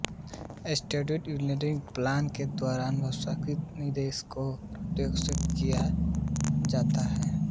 systematic investment plan के द्वारा अनुशासित निवेश को प्रोत्साहित किया जाता हैं